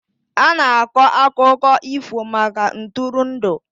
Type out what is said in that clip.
A na-akọ akụkọ ifo maka ntụrụndụ.